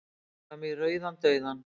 Fram í rauðan dauðann.